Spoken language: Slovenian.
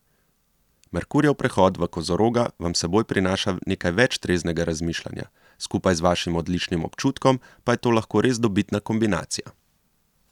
Merkurjev prehod v Kozoroga vam s seboj prinaša nekaj več treznega razmišljanja, skupaj z vašim odličnim občutkom pa je to lahko res dobitna kombinacija.